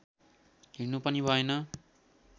हिँड्नु पनि भएन